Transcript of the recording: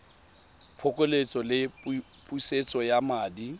phokoletso le pusetso ya madi